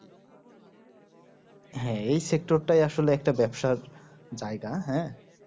হ্যাঁ এই sector টা আসলে একটা ব্যাপসার জায়গা হ্যাঁ